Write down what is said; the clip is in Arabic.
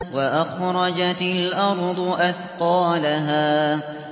وَأَخْرَجَتِ الْأَرْضُ أَثْقَالَهَا